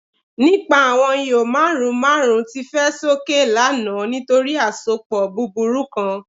Nipa awọn iho marun marun ti fẹ soke lana nitori asopọ buburu kan